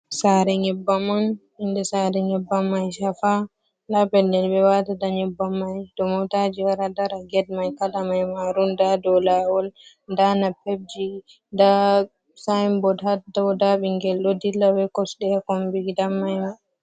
Sare nyebbam on inde sare nyebbam mai shafa nda pellel ɓe watata nyebbam mai ɗon motaji wara dara, ged mai kala mai marun, nda ɗo lawol, nda napep ji, nda sayinbod hadaw, nda ɓingel ɗo dilla be kosɗe kombi gidam mai mai.